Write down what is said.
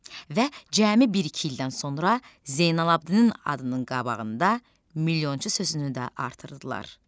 Və cəmi bir-iki ildən sonra Zeynalabidinin adının qabağında milyonçu sözünü də artırdılar.